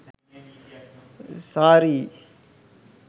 saree